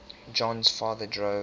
jon's father drove